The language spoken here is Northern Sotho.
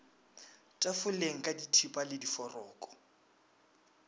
tafoleng ka dithipa le diforoko